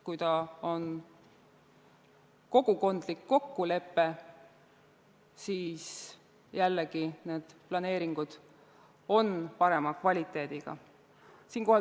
Kui see on kogukondlik kokkulepe, siis jällegi on need planeeringud parema kvaliteediga.